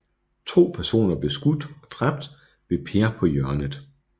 To personer blev skudt og dræbt ved Per på Hjørnet